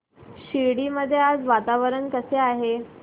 शिर्डी मध्ये आज वातावरण कसे आहे